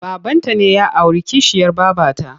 Babanta ne ya auri kishiyar babata.